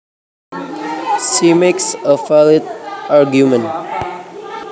She makes a valid argument